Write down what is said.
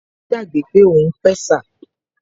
Má gbàgbé pé òun pẹ̀sà